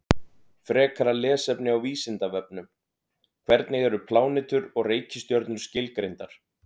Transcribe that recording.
Frekara lesefni á Vísindavefnum: Hvernig eru plánetur og reikistjörnur skilgreindar?